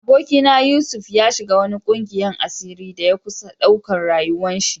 Aboki na Yusuf, ya shiga wani ƙungiyan asiri da ya kusa ɗauka rayuwa'n shi.